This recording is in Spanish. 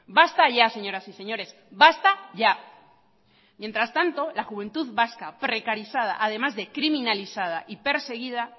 basta ya señoras y señores basta ya mientras tanto la juventud vasca precarizada además de criminalizada y perseguida